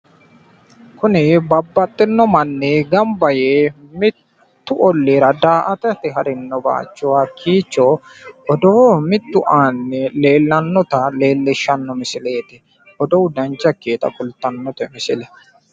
Kunni babbaxino manni gamba yee mittu olliira daa''atate harino bayicho odoo mittu aana leellannota leellishshanno misileeti, odoo dancha ikkitinota kultannote misile.